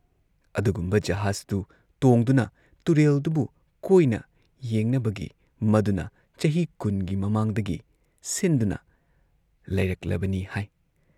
ꯑꯗꯨꯒꯨꯝꯕ ꯖꯍꯥꯖꯇꯨ ꯇꯣꯡꯗꯨꯅ ꯇꯨꯔꯦꯜꯗꯨꯕꯨ ꯀꯣꯏꯅ ꯌꯦꯡꯅꯕꯒꯤ ꯃꯗꯨꯅ ꯆꯍꯤ ꯀꯨꯟꯒꯤ ꯃꯃꯥꯡꯗꯒꯤ ꯁꯤꯟꯗꯨꯅ ꯂꯩꯔꯛꯂꯕꯅꯤ ꯍꯥꯏ ꯫